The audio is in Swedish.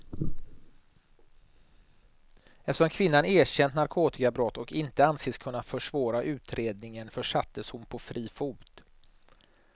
Eftersom kvinnan erkänt narkotikabrott och inte anses kunna försvåra utredningen försattes hon på fri fot.